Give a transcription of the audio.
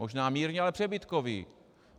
Možná mírně, ale přebytkový.